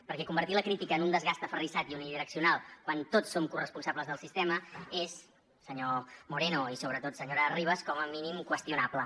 perquè convertir la crítica en un desgast aferrissat i unidireccional quan tots som corresponsables del sistema és senyor moreno i sobretot senyora ribas com a mínim qüestionable